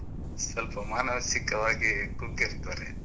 ಸ್ವಲ್ಪ ಮಾನಸಿಕವಾಗಿ ಕುಗ್ಗಿರ್ತಾರೆ.